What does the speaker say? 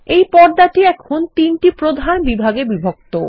এইপর্দাটি এখন তিনটি প্রধান বিভাগে বিভক্ত